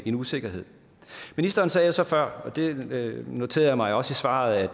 en usikkerhed ministeren sagde jo så før og det noterede jeg mig også i svaret